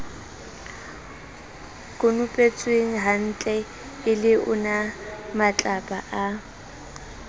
konopetswenghantle e le onamatlapa a